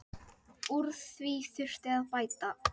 Úr því þurfi að bæta.